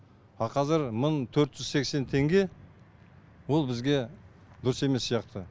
а қазір мың төрт жүз сексен теңге ол бізге дұрыс емес сияқты